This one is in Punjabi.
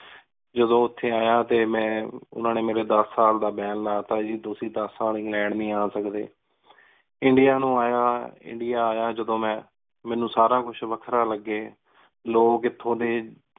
ਜਦੋਂ ਉਥੇ ਆਯਾ ਤੇ ਓਹਨਾ ਨੇ ਮੇਰੇ ਦਸ ਸਾਲ ਦਾ ban ਲਾ ਦਿਤਾ ਗੀ ਤੁਸੀਂ ਦਸ ਸਾਲ ਇੰਗ੍ਲੈੰਡ ਨੀ ਆ ਸਕਦੇ। India ਨੂ ਯਾ India ਆਯਾ ਜਦੋਂ ਮੇਂ ਮਨੁ ਸਾਰਾ ਕੁਝ ਵਖਰਾ ਲਗੀ ਲੋਗ ਏਥੋਂ ਡੀ